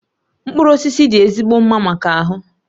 Mkpụrụ osisi dị ezigbo mma maka ahụ